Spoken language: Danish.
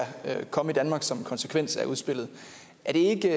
komme i danmark som en konsekvens af udspillet er det